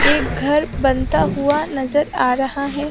एक घर बनता हुआ नजर आ रहा है।